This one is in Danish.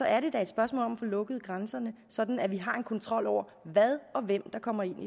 er det da et spørgsmål om at få lukket grænserne sådan at vi har en kontrol over hvad og hvem der kommer ind